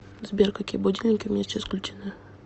сбер какие будильники у меня сейчас включены